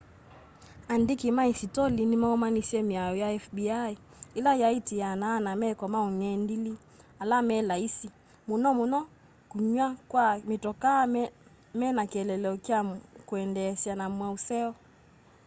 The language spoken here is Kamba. andĩkĩ ma ĩsĩtolĩ nĩmaũmanĩsye mĩao ya fbi ĩla yatĩĩanaa na meko ma ũngendĩlĩ ala me laĩsi mũno mũno kũywa kwa mĩtokaa mena kĩeleelo kya kwĩyendeesya na maũseo